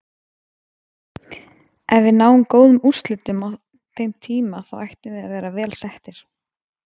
Ef við náum góðum úrslitum á þeim tíma þá ættum við að vera vel settir.